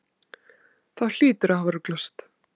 Þú hlýtur að hafa ruglast.